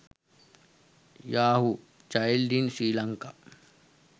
yahoo child in sri lanka